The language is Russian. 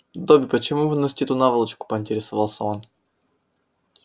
добби почему вы носите эту наволочку поинтересовался он